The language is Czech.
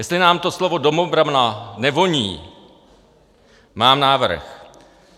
Jestli nám to slovo domobrana nevoní, mám návrh.